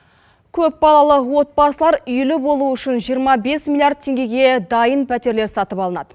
көпбалалы отбасылар үйлі болуы үшін жиырма бес миллиард теңгеге дайын пәтерлер сатып алынады